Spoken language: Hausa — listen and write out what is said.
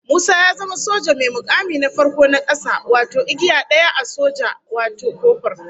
Musa ya zama soja mai mukami na farko na kasa wato igiya daya a soja wato kofur